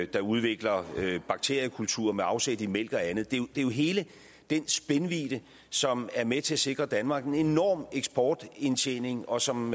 der udvikler bakteriekulturer med afsæt i mælk og andet det er jo hele den spændvidde som er med til at sikre danmark en enorm eksportindtjening og som